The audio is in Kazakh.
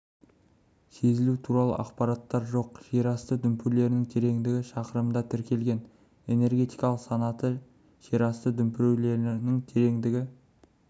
сезілу туралы ақпараттар жоқ жер асты дүмпулерінің тереңдігі шақырымда тіркелген энергетикалық санаты жер асты дүмпулерінің тереңдігі